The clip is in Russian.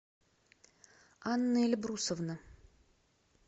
анна эльбрусовна